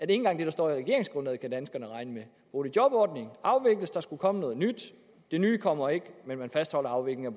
engang det der står i regeringsgrundlaget kan danskerne regne med boligjobordningen afvikles der skulle komme noget nyt det nye kommer ikke men man fastholder afviklingen